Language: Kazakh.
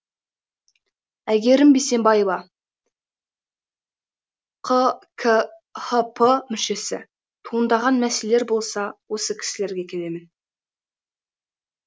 әйгерім бейсембаева қкхп мүшесі туындаған мәселелер болса осы кісілерге келемін